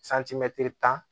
tan